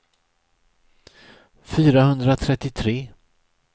fyrahundratrettiotre